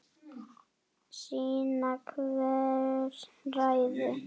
Sýna hver ræður.